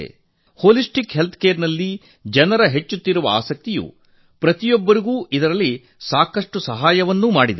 ಜನರಲ್ಲಿ ಸಮಗ್ರ ಆರೋಗ್ಯರಕ್ಷಣೆ ಬಗ್ಗೆ ಹೆಚ್ಚುತ್ತಿರುವ ಆಸಕ್ತಿಯು ಪ್ರತಿಯೊಬ್ಬರಿಗೂ ಸಾಕಷ್ಟು ಸಹಾಯ ಮಾಡಿದೆ